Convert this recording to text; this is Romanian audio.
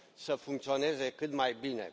să funcționeze cât mai bine.